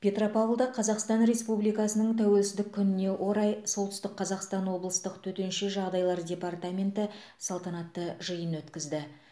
петропавлда қазақстан республикасының тәуелсіздік күніне орай солтүстік қазақстан облыстық төтенше жағдайлар департаменті салтанатты жиын өткізді